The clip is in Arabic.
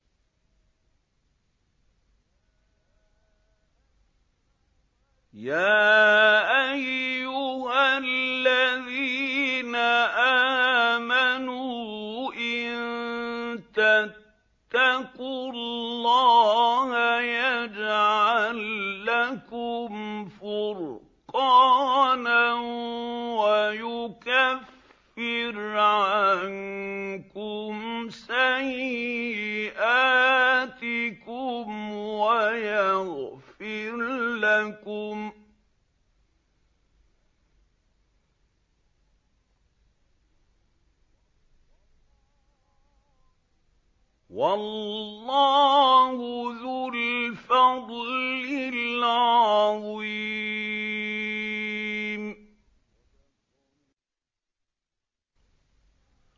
يَا أَيُّهَا الَّذِينَ آمَنُوا إِن تَتَّقُوا اللَّهَ يَجْعَل لَّكُمْ فُرْقَانًا وَيُكَفِّرْ عَنكُمْ سَيِّئَاتِكُمْ وَيَغْفِرْ لَكُمْ ۗ وَاللَّهُ ذُو الْفَضْلِ الْعَظِيمِ